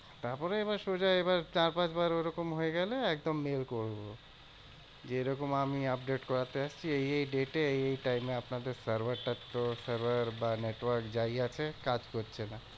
তারপরে এবার সোজা এবার চার পাঁচ বার ওরকম হয়েগেলে একদম mail করবো। যে এরকম আমি update করাতে আসছি এই এই date এ এই এই time এ আপনাদের server টা তো server বা network যাই আছে কাজ করছে না।